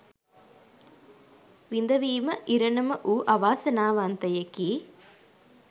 විඳවීම ඉරණම වූ අවාසනාවන්තයෙකි.